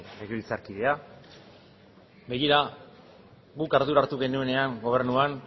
legebiltzarkidea begira guk ardura hartu genuenean gobernuan